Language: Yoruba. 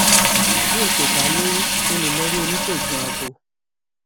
bí o kò bá lóyún o lè lọ rí oníṣègùn abo